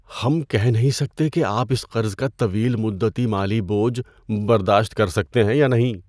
ہم کہہ نہیں سکتے کہ آپ اس قرض کا طویل مدتی مالی بوجھ برداشت کر سکتے ہیں یا نہیں۔